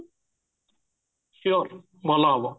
sure ଭଲ ହବ